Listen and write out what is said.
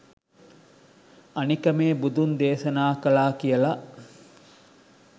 අනික මේ බුදුන් දේශනා කළා කියල